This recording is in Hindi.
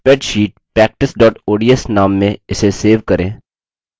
यदि आपके पास अच्छा bandwidth नहीं है तो आप इसे download करके देख सकते हैं